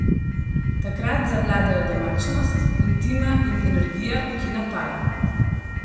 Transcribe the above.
Takrat zavladajo domačnost, intima in energija, ki napaja.